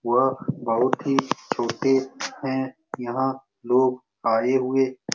वह बहुत ही छोटे हैं यहां लोग आए हुए --